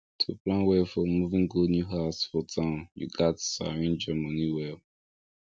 to plan well for moving go new house for town you gats arrange your money well